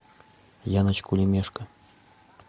яночку лемешко